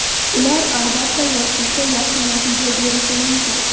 Ular, albatta, yoshlikda yaxshi natija berishi mumkin.